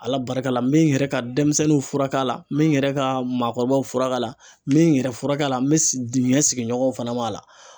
Ala barika la n bɛ n yɛrɛ ka denmisɛnninw furakɛ a la, n bɛ n yɛrɛ ka maakɔrɔbaw furakɛ a la, n bɛ n yɛrɛ furakɛ la, n bɛ dingɛ sigiɲɔgɔnw fana b'a la.